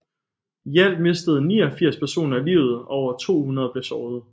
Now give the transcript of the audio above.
I alt mistede 89 personer livet og over 200 blev såret